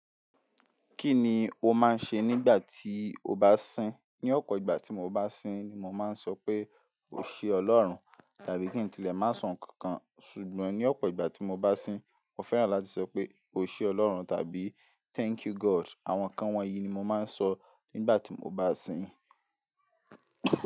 Kí ni o máa ń ṣe nígbà tí o bá sín? Ní ọ̀pọ̀ ìgbà tí mo bá sín ni mo máa ń sọ pé "O ṣe Ọlọ́run" tàbí kí n tilẹ̀ má sọ ǹkan kan ṣùgbọ́n ní ọ̀pọ̀ ìgbà tí mo bá sín, mo fẹ́ràn láti sọ pé "O ṣe Ọlọ́run" tàbí "Thank you God". Àwọn nǹkan wọ̀nyí ni mo máa ń sọ nígbà tí mo bá sín.